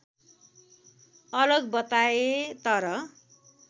अलग बताए तर